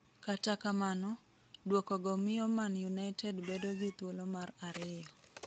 Kata kamano, duokogo miyo Man United bedo gi thulo mar ariyo.